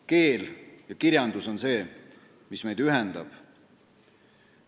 Keel ja kirjandus on see, mis meid ühendab.